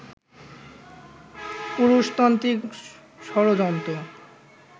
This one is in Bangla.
পুরুষতান্ত্রিক ষড়যন্ত্র